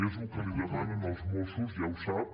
és el que li demanen els mossos ja ho sap